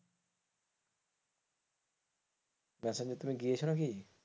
মেসেঞ্জোর তুমি গিয়েছো নাকি?